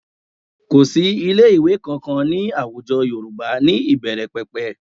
Kò sí ilé-ìwẹ́ kankan ní àwùjọ Yorùbá ní ìbẹ̀rẹ̀pẹ̀pẹ̀